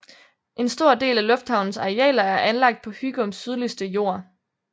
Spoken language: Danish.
En stor del af lufthavnens arealer er anlagt på Hygums sydligste jord